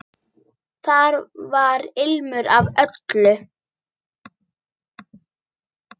Þar var ilmur af öllu.